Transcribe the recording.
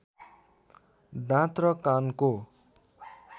दाँत र कानको